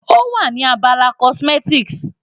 Ó wà ní abala cosmetics.